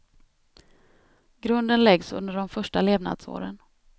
Grunden läggs under de första levnadsåren.